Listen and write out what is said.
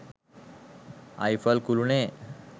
Eiffel කුලුණේ